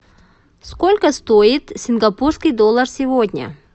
сколько стоит сингапурский доллар сегодня